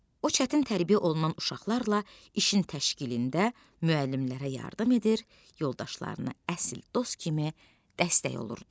O çətin tərbiyə olunan uşaqlarla işin təşkilində müəllimlərə yardım edir, yoldaşlarına əsl dost kimi dəstək olurdu.